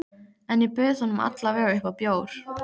En ég bauð honum alla vega upp á bjór.